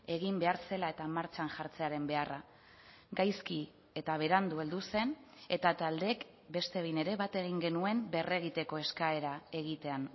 egin behar zela eta martxan jartzearen beharra gaizki eta berandu heldu zen eta taldeek beste behin ere bat egin genuen berregiteko eskaera egitean